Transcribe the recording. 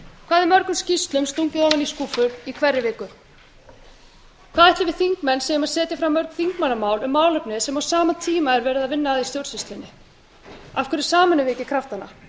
hvað er mörgum skýrslum stungið ofan í skúffur í hverri viku hvað ætli við þingmenn séum að setja fram mörg þingmannamál um málefni sem á sama tíma er verið að vinna að í stjórnsýslunni af hverju sameinum við ekki kraftana